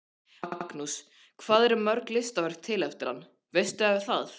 Magnús: Hvað eru mörg listaverk til eftir hann, veistu það?